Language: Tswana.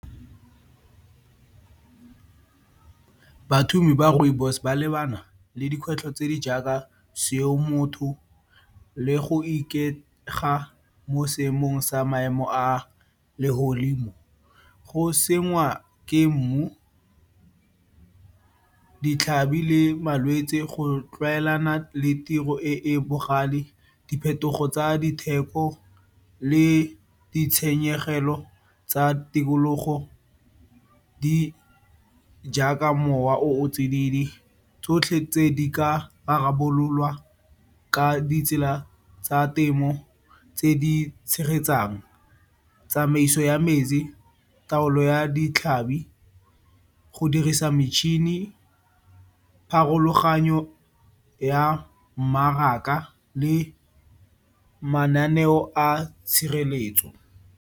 ba rooibos ba lebana le dikgwetlho tse di jaaka seo motho le go ikaega mo seemong sa maemo a legodimo, go senngwa ke mmu, ditlhabi le malwetsi, go tlwaelana le tiro e e bogale, diphetogo tsa ditheko le ditshenyegelo tsa tikologo tse di jaaka mowa o tsididi. Tsotlhe tse, di ka rarabololwa ka ditsela tsa temo tse di tshegetsang, tsamaiso ya metsi, taolo ya ditlhabi, go dirisa metšhini, pharologanyo ya mmaraka le mananeo a tshireletso.